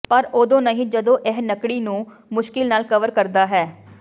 ਪਰ ਉਦੋਂ ਨਹੀਂ ਜਦੋਂ ਇਹ ਨੱਕੜੀ ਨੂੰ ਮੁਸ਼ਕਿਲ ਨਾਲ ਕਵਰ ਕਰਦਾ ਹੈ